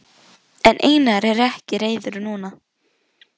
En Einar er ekki reiður núna.